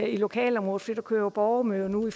i lokalområdet for der kører jo borgermøder nu